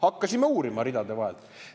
Hakkasime uurima ridade vahelt.